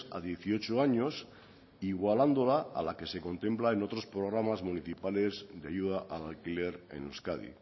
a dieciocho años igualándola a la que se contempla en otros programas municipales de ayuda al alquiler en euskadi